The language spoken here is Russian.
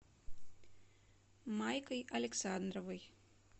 майкой александровой